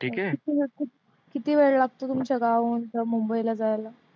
किती वेळ लागतो तुमच्या गावाहून अह मुंबईला जायला?